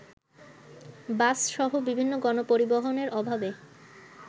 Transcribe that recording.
বাসসহ বিভিন্ন গণপরিবহনের অভাবে